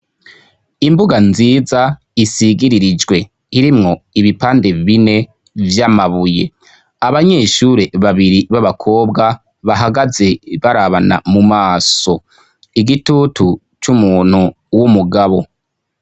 Imbuga nziza isigiririjwe irimwo ibipande bine vy'amabuye, abanyeshure babiri b'abakobwa bahagaze barabana mumaso, igitutu c'umuntu w'umugabo.